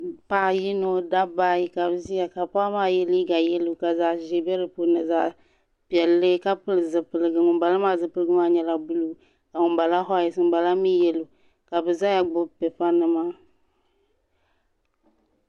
Paɣa yino dabba ayi ka bi ʒiya ka paɣa maa yɛ liiga yelo ka zaɣa ʒee bɛ di puuni ni zaɣa piɛlli ka pili zipiligu ŋun bala maa zipiligu maa nyɛla zipili buluu ka ŋun bala whayite ŋun bala mi yelo ka bi zaya gbubi pipa nima.